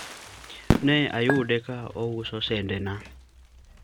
ne ayude ka ouso sende na